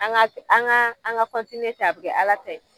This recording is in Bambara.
An ga an ga an ga kɔntiniye tan a bi kɛ ala ta ye